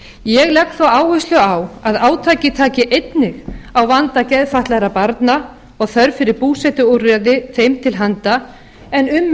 ég legg svo áherslu á að átakið taki einnig á vanda geðfatlaðra barna og þörf fyrir búsetuúrræði þeim til handa en